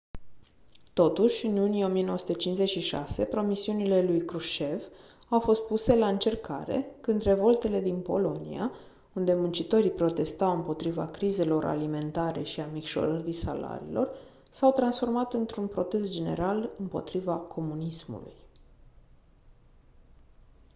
totuși în iunie 1956 promisiunile lui krushchev au fost puse la încercare când revoltele din polonia unde muncitorii protestau împotriva crizelor alimentare și a micșorării salariilor s-au transformat într-un protest general împotriva comunismului